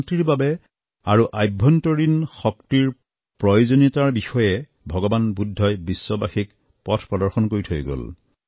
শান্তিৰ বাবে আভ্যন্তৰীণ শক্তিৰ প্ৰয়োজনীয়তাৰ বিষয়ে ভগবান বুদ্ধই বিশ্ববাসীক পথ প্ৰদৰ্শন কৰি থৈ গল